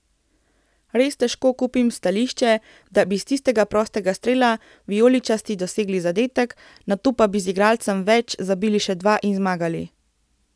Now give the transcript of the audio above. Res težko kupim stališče, da bi iz tistega prostega strela vijoličasti dosegli zadetek, nato pa bi z igralcem več zabili še dva in zmagali.